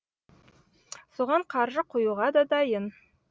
соған қаржы құюға да дайын